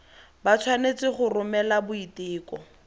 ba tshwanetse go romela boiteko